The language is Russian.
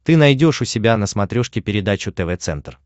ты найдешь у себя на смотрешке передачу тв центр